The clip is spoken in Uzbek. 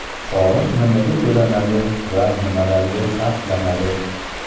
Soliq nimaga to‘lanadi va nimalarga sarflanadi?.